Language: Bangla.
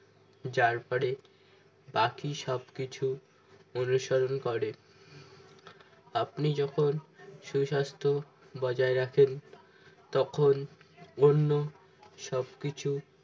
যার পরে বাকি সব কিছু অনুসরণ করে আপনি যখন সুস্বাস্থ্য বজায় রাখেন তখন অন্য সবকিছু